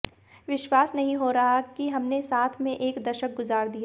विश्वास नहीं हो रहा कि हमने साथ में एक दशक गुजार दिया